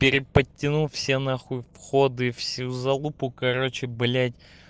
переподтяну все нахуй входы всю залупу короче блять